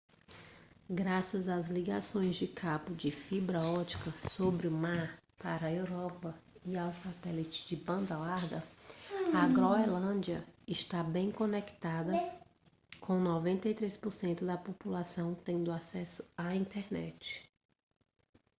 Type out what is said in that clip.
graças às ligações de cabo de fibra ótica sob o mar para a europa e ao satélite de banda larga a groenlândia está bem conectada com 93% da população tendo acesso à internet